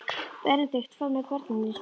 Benedikt fór með börnin í skólann.